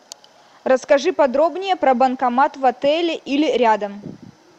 расскажи подробнее про банкомат в отеле или рядом